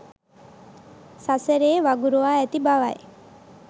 සසරේ වගුරුවා ඇති බවයි